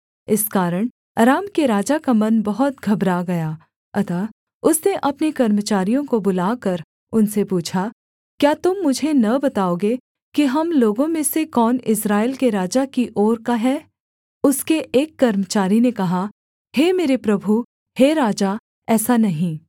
इस कारण अराम के राजा का मन बहुत घबरा गया अतः उसने अपने कर्मचारियों को बुलाकर उनसे पूछा क्या तुम मुझे न बताओगे कि हम लोगों में से कौन इस्राएल के राजा की ओर का है उसके एक कर्मचारी ने कहा हे मेरे प्रभु हे राजा ऐसा नहीं